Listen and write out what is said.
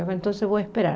Então eu vou esperar.